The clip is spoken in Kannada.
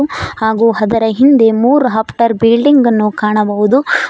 ಹಾಗು ಹದರ ಹಿಂದೆ ಮೂರ್ ಹಪ್ತರ ಬಿಲ್ಡಿಂಗ್ ಅನ್ನು ಕಾಣಬಹುದು.